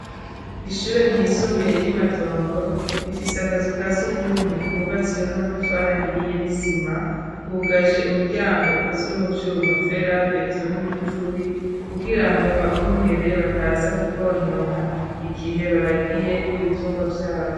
Ishure ryisumbuye ryi Matongo rifise akazu kasugumwe kubatswe n'amatafari ahiye nisima kugaje umuryango ukozwe mu byuma fera beton igufuri kugira ngo abungere bataza kukonona igihe baragiye ibitungwa vyabo.